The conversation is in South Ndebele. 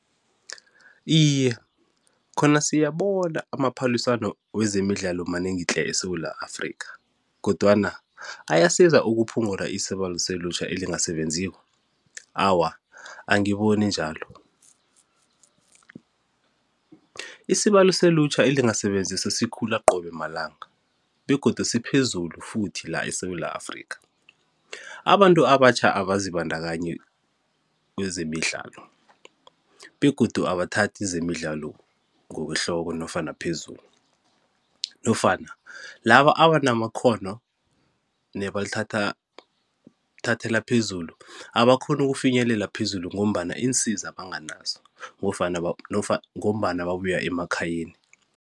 Iye, khona siyabona amaphaliswano wezemidlalo manengi tle eSewula Afrikha, kodwana ayasiza ukuphungula isibalo selutjha elingasebenziko? Awa angiboni njalo. Isibalo selutjha elingasebenziko sikhula qobe malanga begodu siphezulu futhi la eSewula Afrikha. Abantu abatjha abazibandakanyi kwezemidlalo begodu abathathi zemidlalo ngokwehloko nofana phezulu nofana laba abanamakhono, nebalithathela phezulu abakhoni ukufinyelela phezulu ngombana iinsiza banganazo ngombana babuya emakhayeni.